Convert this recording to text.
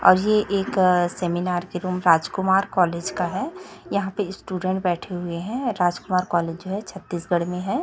और ये एक सेमिनार एवं राजकुमार कॉलेज का है यहां पे स्टूडेंट्स बैठे हुए है राजकुमार कॉलेज है छत्तीसगढ़ में है।